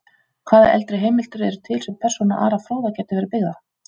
Hvaða eldri heimildir eru til sem persóna Ara fróða gæti verið byggð á?